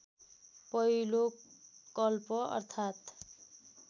पहिलो कल्प अर्थात्‌